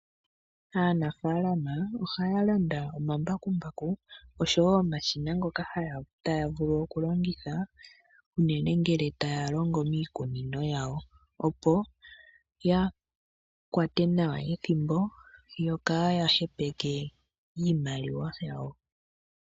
Aanafaalama ohaya landa omambakumbaku osho wo omashina ngoka taya vulu okulongitha uunene ngele taya longo miikunino yawo opo yakwate nawa ethimbo yokaya hepeke iimaliwa yawo.